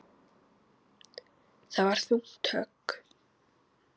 Það var þungt högg.